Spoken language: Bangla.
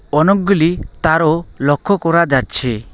অনেকগুলি তারও লক্ষ করা যাচ্ছে।